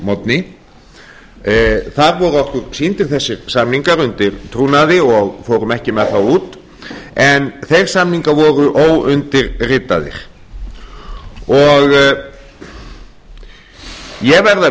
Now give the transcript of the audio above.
morgni þar voru okkur sýndir þessir samningar undir trúnaði og við fórum ekki með þá út en þeir samningar voru óundirritaðir ég verð að viðurkenna